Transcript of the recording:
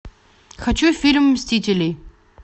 хочу фильм мстители